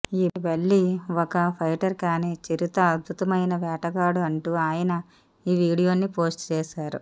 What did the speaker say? ఈ బల్లి ఒక ఫైటర్ కానీ చిరుత అద్భుతమైన వేటగాడు అంటూ ఆయన ఈ వీడియో ని పోస్ట్ చేసారు